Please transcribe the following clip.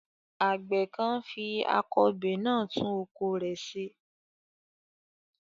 Àgbẹ̀ kan ń fi akọbè náà tún oko rẹ̀ ṣe.